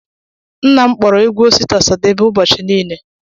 Nna m kpọọrọ egwu Osita Ọsadebe ụbọchị niile.